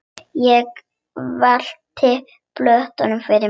Ég virti plötuna fyrir mér.